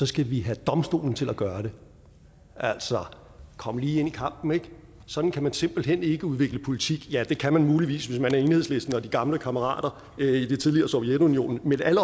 skal vi have domstolen til at gøre det altså kom lige ind i kampen ik sådan kan man simpelt ikke udvikle politik ja det kan man muligvis hvis man er enhedslisten og de gamle kammerater i det tidligere sovjetunionen men alle